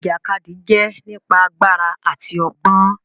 Ìjàkadì jẹ nípa àgbàrá àti ọgbọn.